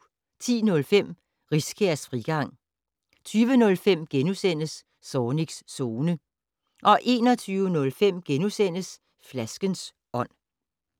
10:05: Riskærs Frigang 20:05: Zornigs Zone * 21:05: Flaskens ånd *